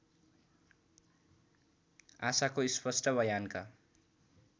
आशाको स्पष्ट वयानका